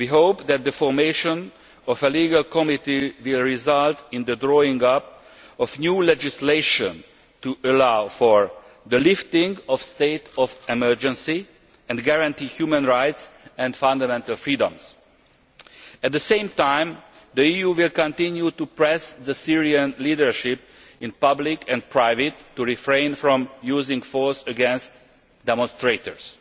We hope that the formation of a legal committee will result in the drawing up of new legislation to allow for the lifting of the state of emergency and guarantee human rights and fundamental freedoms. At the same time, the EU will continue to press the Syrian leadership in public and private to refrain from using force against demonstrators.